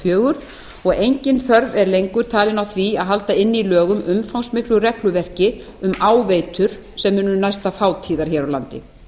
fjögur og engin þörf er lengur talin á því að halda inni í lögum umfangsmiklu regluverki um áveitur sem munu næsta fátíðar hér á landi